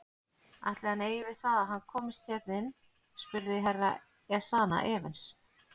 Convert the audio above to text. Ætli hann eigi við það að hann komist hérna inn spurði Herra Ezana efins.